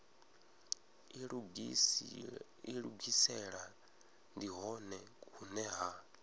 ilugisela ndi hone hune ha